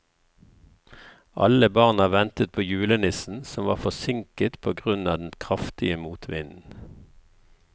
Alle barna ventet på julenissen, som var forsinket på grunn av den kraftige motvinden.